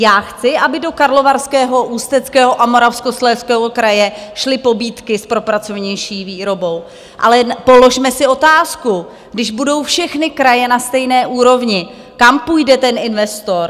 Já chci, aby do Karlovarského, Ústeckého a Moravskoslezského kraje šly pobídky s propracovanější výrobou, ale položme si otázku: když budou všechny kraje na stejné úrovni, kam půjde, ten investor?